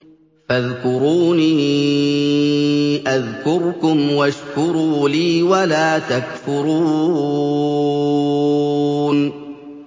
فَاذْكُرُونِي أَذْكُرْكُمْ وَاشْكُرُوا لِي وَلَا تَكْفُرُونِ